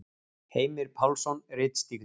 Heimir Pálsson ritstýrði.